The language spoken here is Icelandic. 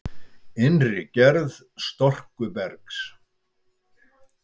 Innri gerð storkubergs